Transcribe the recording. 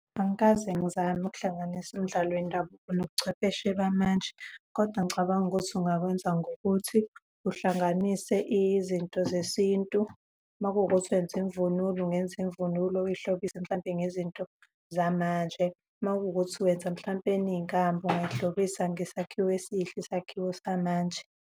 Angikaze ngizame ukuhlanganisa emdlalo wendabuko nobuchwepheshe bamanje, kodwa ngicabanga ukuthi ungakwenza ngokuthi uhlanganise izinto zesintu. Uma kuwukuthi wenza imvunulo, ungenza imvunulo uyihlobise mhlampe ngezinto zamanje, uma kuwukuthi wenza mhlampeni inkamba ungayihlobise ngesakhiwe esihle, isakhiwo samanje.